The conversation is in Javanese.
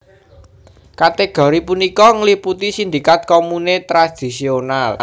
Kategori punika ngliputi sindikat komune tradisional